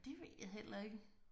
Det ved jeg heller ikke